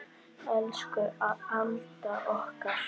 Elsku Alda okkar.